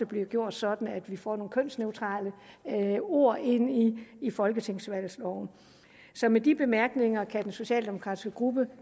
bliver gjort sådan at vi får nogle kønsneutrale ord ind i folketingsvalgloven så med de bemærkninger kan den socialdemokratiske gruppe